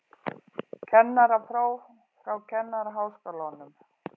Kennarapróf frá Kennaraháskólanum